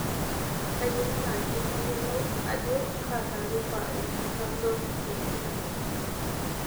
kayie naaji nayiolou ajo kaa taarifa ena chanzo ng'ejuk